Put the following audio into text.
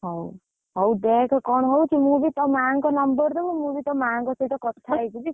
ହଉ, ହଉ ଦେଖେ କଣ ହଉଛି ମୁଁ ବି ତୋ ମା'ଙ୍କ number ଦବୁ ମୁଁ ବି ତୋ ମା'ଙ୍କ ସହିତ କଥା ହେଇଯିବି।